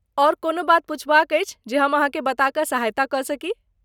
ओर कोनो बात पुछबाक अछि जे हम अहाँके बता क सहायता क सकी?